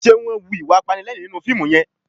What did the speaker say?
Ṣe wọ́n ń hu ìwà apanilẹ́rìn-ín nínú fíìmù yẹn?